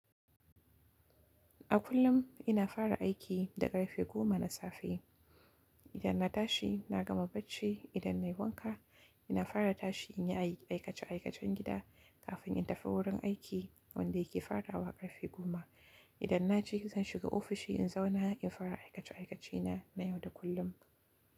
A kullum ina fara aiki da ƙarfe goma na safe. Idan na tashi na gama bacci, idan nayi wanka ina fara tashi in yi aikace aikacen gida kafin in tafi wurin aiki wanda yake farawa ƙarfe goma. Idan na je zan shiga ofishi in zauna in fara aikace aikace na na yau da kullum.